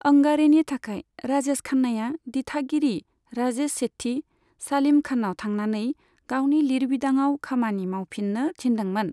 अंगारेनि थाखाय राजेश खान्नाया दिथागिरि राजेश सेठी, सालीम खाननाव थांनानै गावनि लिरबिदाङाव खामानि मावफिननो थिनदोंमोन।